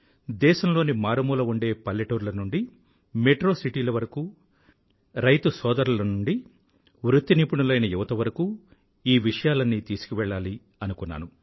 దేశంలోని మారుమూల ఉండే పల్లెటూర్ల నుండీ మెట్రో సిటీల వరకూ రైతుసోదరుల నుండీ వృత్తి నిపుణులైన యువత వరకూ ఈ విషయాలన్నీ తీసుకువెళ్ళాలి అనుకున్నాను